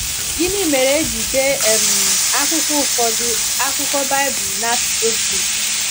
Gịnị mere e ji dee um akwụkwọ ụfọdụ akwụkwọ Baịbụl n’asụsụ Grik?